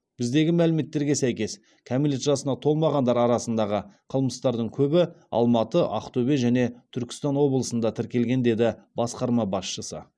біздегі мәліметтерге сәйкес кәмелет жасына толмағандар арасындағы қылмыстардың көбі алматы ақтөбе және түркістан облысында тіркелген деді басқарма басшысы